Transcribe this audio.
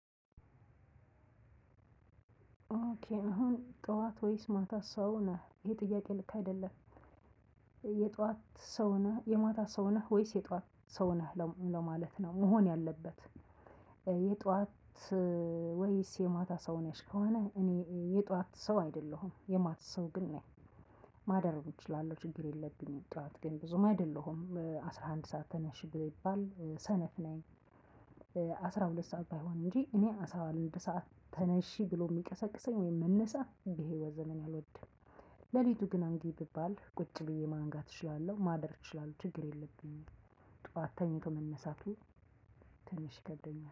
ኦኬ አሁን ጠዋት ወይስ ማታ ሰው ነህ ይሄ ጥያቄ ልክ አይደለም? የጧት ሰው ነህ የማታ ሰው ነህ ወይስ የጧት ሰው ነህ ለማለት ነው መሆን ያለበት? የጧት ወይስ የማታ ሰው ነሽ ከሆነ እኔ የጧት ሰው አይደለሁም የማት ሰው ግን ነኝ። ማደርም እችላለሁ ችግር የለብኝም ጧት ግን ብዙም አይደለሁም በአስራ አንድ አስራ አንድ ሰዓት ተነሺ ግብ ይባል ሰነፍ ነኝ። አስራ ሁለት ሰዓት ባይሆን እንጂ እኔ አስራ አንድ ሰዓት ተነሺ ብሎ የሚቀሰቅሰኝ ወይም መነሳት ይሄ ወዘነን አልወድም። ሌሊቱ ግን አንጊ ቢባል ቁጭ ብዬ ማንጋት እችላለሁ ማደር እችላለሁ ችግር የለብኝም። ጠዋት ተኝቶ መነሳቱ ትንሽ ይከብደኛል